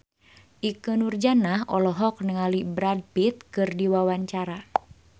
Ikke Nurjanah olohok ningali Brad Pitt keur diwawancara